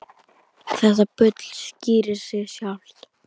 Þetta bull skýrir sig sjálft.